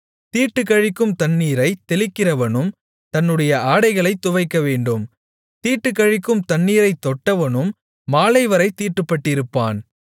தீட்டுக்கழிக்கும் தண்ணீரைத் தெளிக்கிறவனும் தன்னுடைய ஆடைகளைத் துவைக்கவேண்டும் தீட்டுக்கழிக்கும் தண்ணீரைத் தொட்டவனும் மாலைவரைத் தீட்டுப்பட்டிருப்பான்